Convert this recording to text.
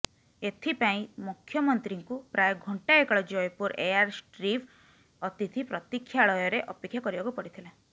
ଏଥିପାଇଁ ମୁଖ୍ୟମନ୍ତ୍ରୀଙ୍କୁ ପ୍ରାୟ ଘଣ୍ଟାଏ କାଳ ଜୟପୁର ଏୟାରଷ୍ଟ୍ରିପ୍ ଅତିଥି ପ୍ରତୀକ୍ଷାଳୟରେ ଅପେକ୍ଷା କରିବାକୁ ପଡ଼ିଥିଲା